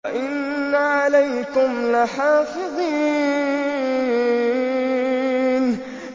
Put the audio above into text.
وَإِنَّ عَلَيْكُمْ لَحَافِظِينَ